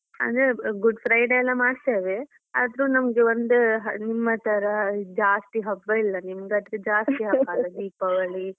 ಅಂದ್ರೆ Good Friday ಎಲ್ಲ ಮಾಡ್ತೇವೆ ಆದ್ರು ನಮ್ಗೆ ನಿಮ್ಮ ತರ ಜಾಸ್ತಿ ಹಬ್ಬ ಇಲ್ಲ. ನಿಮ್ಗೆ ಆದ್ರೆ ಜಾಸ್ತಿ ಹಬ್ಬ ಅಲ ದೀಪಾವಳಿ.